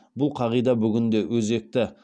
бұл қағида бүгін де өзекті